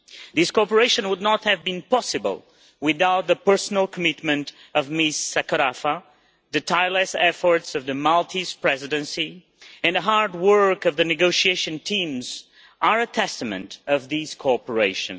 This cooperation would not have been possible without the personal commitment of Ms Sakorafa, and the tireless efforts of the Maltese Presidency and the hard work of the negotiation teams are a testament of this cooperation.